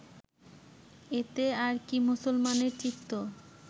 এতে আর কি মুসলমানের চিত্ত